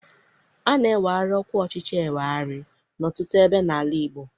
A na-eweghari ọkwa ọchịchị ewegharị n'ọtụtụ ebe n'ala Igbo